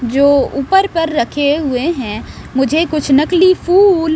जो ऊपर पर रखे हुए हैं मुझे कुछ नकली फूल --